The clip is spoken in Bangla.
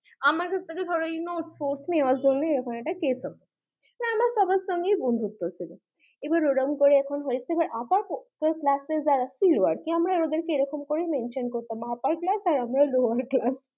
আমার থেকে ধরো ওই notes ফটস নেয়ার জন্যই এরকম একটা case হতো আমার সবার সাথে বন্ধুত্ব ছিল এরকম করে upper class আমরা ওদের ক এরম করে mention করতাম upper class আর আমরা lower class